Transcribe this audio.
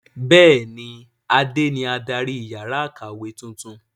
Bẹ́ẹ̀ni, Adé ni adarí yàrá ìyáwèékàwé tuntun.